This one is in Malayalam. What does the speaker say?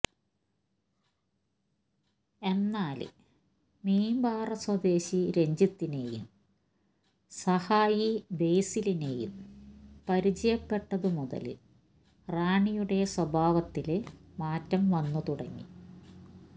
എന്നാല് മീമ്പാറ സ്വദേശി രഞ്ജിത്തിനെയും സഹായി ബേസിലിനെയും പരിചയപ്പെട്ടതുമുതല് റാണിയുടെ സ്വഭാവത്തില് മാറ്റം വന്നു തുടങ്ങി